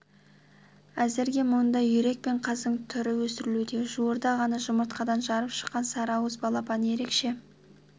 әзірге мұнда үйрек пен қаздың түрі өсірілуде жуырда ғана жұмыртқадан жарып шыққан сары ауыз балапан ерекше